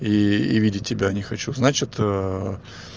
и и видеть тебя не хочу значит